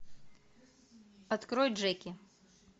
открой джеки